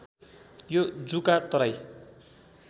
यो जुका तराई